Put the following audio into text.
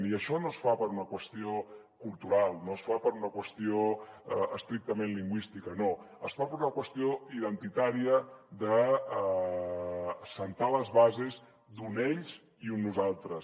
i això no es fa per una qüestió cultural no es fa per una qüestió estrictament lingüística no es fa per una qüestió identitària d’assentar les bases d’un ells i un nosaltres